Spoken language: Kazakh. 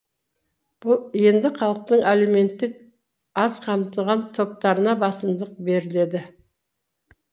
енді халықтың әлеуметтік аз қамтылған топтарына басымдық беріледі